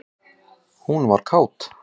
Hún var kát.